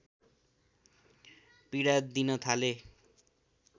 पीडा दिन थाले